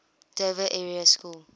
dover area school